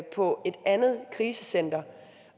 på et andet krisecenter